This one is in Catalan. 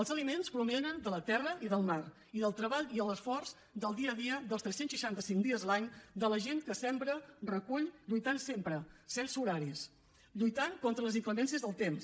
els aliments provenen de la terra i del mar i del treball i l’esforç del dia a dia dels tres cents i seixanta cinc dies l’any de la gent que sembra recull lluitant sempre sense horaris lluitant contra les inclemències del temps